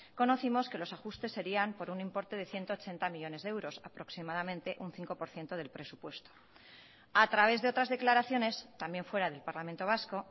conocimos que los ajustes serían por un importe de ciento ochenta millónes de euros aproximadamente un cinco por ciento del presupuesto a través de otras declaraciones también fuera del parlamento vasco